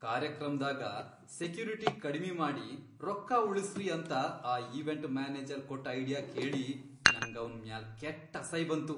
ಕಾರ್ಯಕ್ರಮ್ದಾಗ security ಕಡಿಮಿ ಮಾಡಿ ರೊಕ್ಕಾ ಉಳಿಸ್ರಿ ಅಂತ ಆ ಈವೆಂಟ್ ಮ್ಯಾನೇಜರ್ ಕೊಟ್ ಐಡಿಯಾ ಕೇಳಿ ನಂಗವ್ನ್ ಮ್ಯಾಲ್ ಕೆಟ್ ಅಸೈಬಂತು.